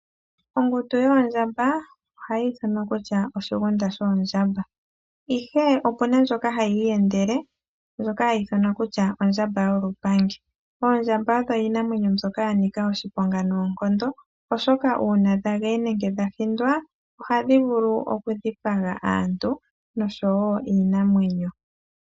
Ongundu yoondjamba ohayi ithanwa kutya oshigunda shoondjamba, ihe opu na ndjoka hayi iyendele ndjoka hayi ithanwa kutya ondjamba yolupangi. Oondjamba odho iinamwenyo mbyoka ya nika oshiponga noonkondo, oshoka uuna dha geye nenge dha hindwa ohadhi vulu okudhipanga aantu oshowo iinamwenyo.